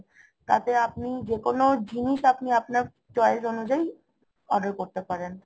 তাতে আপনি যেকোন জিনিস আপনি আপনার choice অনুযায়ী order করতে পারেন